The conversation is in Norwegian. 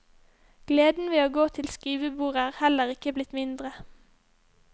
Gleden ved å gå til skrivebordet er heller ikke blitt mindre.